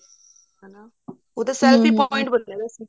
ਉਹ selfie point ਬਣ ਗੇ ਨੇ